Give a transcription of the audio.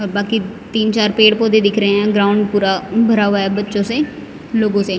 और बाकी तीन चार पेड़ पौधे दिख रहे हैं ग्राउंड पूरा भरा हुआ है बच्चों से लोगों से--